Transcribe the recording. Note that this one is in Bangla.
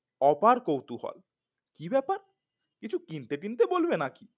অপার কৌতূহল কি ব্যাপার কিছু কিনতে তিনটে বলবে নাকি